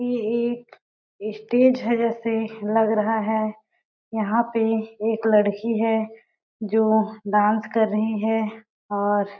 ये एक स्टेज है ऐसे लग रहा है यहाँ पे एक लड़की है जो डांस कर रही है और--